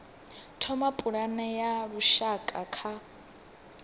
thoma pulane ya lushaka ya